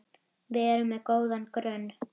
Við erum með góðan grunn.